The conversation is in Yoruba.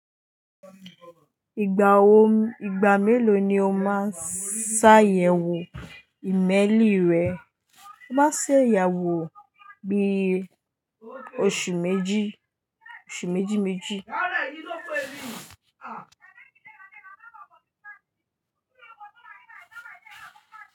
Ìgbà wo, ìgbà mélòó ni o máa ṣàyẹ̀wò ìmẹ́lì rẹ? Má ṣeyawò bí oṣù méjì, oṣù méjì méjì.